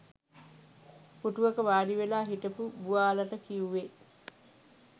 පුටුවක වාඩිවෙලා හිටපු බුවාලට කියුවෙ